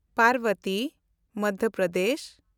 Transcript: Parbati (Madhya Pradesh)